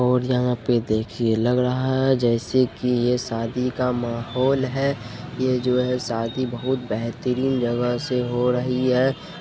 और यहाँ पर देखिए लग रहा है जैसे की ये शादी का माहौल है ये जो है शादी बहुत बेहतरीन जगह से हो रही है।